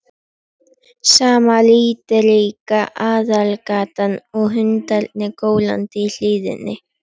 Sama litríka aðalgatan og hundarnir gólandi í hlíðinni.